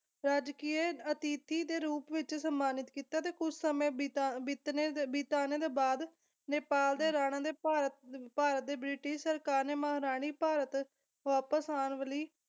ਰਾਜਕੀਯ ਅਤਿਥੀ ਦੇ ਰੂਪ ਵਿੱਚ ਸਨਮਾਨਿਤ ਕੀਤਾ ਤੇ ਕੁਛ ਸਮੇਂ ਬਿਤਾ ਬਿਤਣੇ ਬਿਤਾਣੇ ਦੇ ਬਾਅਦ ਨੇਪਾਲ ਦੇ ਰਾਣਾ ਦੇ ਭਾ ਭਾਰਤ ਦੇ ਬ੍ਰਿਟਿਸ਼ ਸਰਕਾਰ ਨੇ ਮਹਾਰਾਣੀ ਭਾਰਤ ਵਾਪਸ ਆਉਣ ਵਾਲੀ